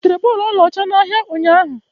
Ị butere bọọlụ ọlaọcha n'ahịa ụnyahụ?